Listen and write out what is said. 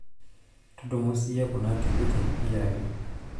tudumu siiyie kuna tikiting' iyaki